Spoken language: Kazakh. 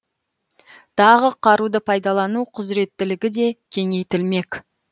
тағы қаруды пайдалану құзыреттілігі де кеңейтілмек